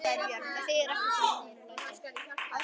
Það þýðir ekkert að vera með fum og læti.